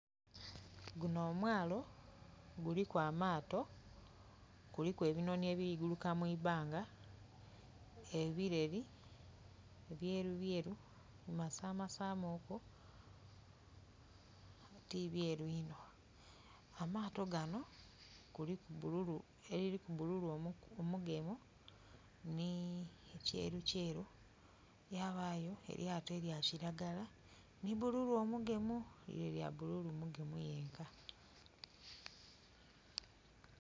Guno omwalo , guliku amaato, guliku ebinonhi ebiri ku guluka mwibanga, ebileri ebyeru byeru bi masamasa mu ku nga ti byeru inho amaato gano kuliku eliriku bululu omugemu ni kyeru kyeru. Yabaayo elyato elya kiragala ni bululu omugemu. Lire lya bululu mugemu yenka.